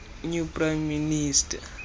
new prime minister